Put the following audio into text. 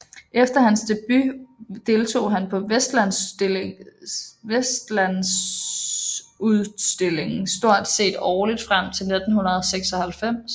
Efter hans debut deltog han på Vestlandsutstillingen stort set årligt frem til 1996